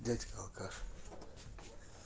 блядь алкаш